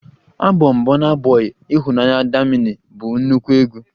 Abọm bọna bọi""Ịhụnanya, damini"" bụ nnukwu egwu